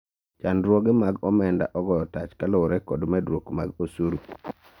chandruoge mag omenda ogoyo tach kaluwore kod medruok mar osuru